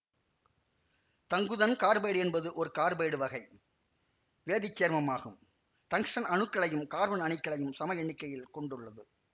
தங்குதன் carbide என்பது ஒரு carbide வகை வேதி சேர்மமாகும்டங்க்ஸ்டன் அணுக்களையும் கார்பன் அணுக்களையும் சம எண்ணிக்கையில் கொண்டுள்ளது